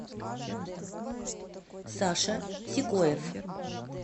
саша сикоев